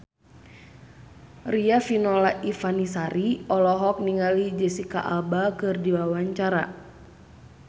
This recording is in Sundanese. Riafinola Ifani Sari olohok ningali Jesicca Alba keur diwawancara